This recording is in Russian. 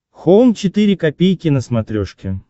хоум четыре ка на смотрешке